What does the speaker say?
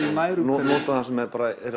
úr nærumhverfinu nota það sem er